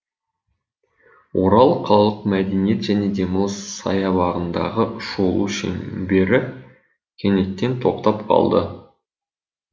орал қалалық мәдениет және демалыс саябағындағы шолу шеңбері кенеттен тоқтап қалды